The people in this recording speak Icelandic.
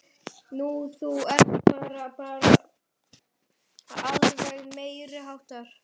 Nú. þú ert bara. bara alveg meiriháttar!